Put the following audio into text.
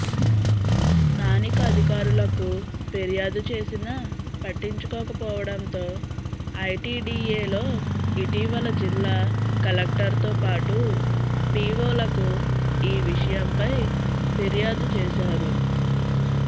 స్థానిక అధికారులకు ఫిర్యాదు చేసినా పట్టించుకోకపోవడంతో ఐటిడిఎలో ఇటీవల జిల్లా కలెక్టర్తో పాటు పిఒలకు ఈ విషయంపై ఫిర్యాదు చేశారు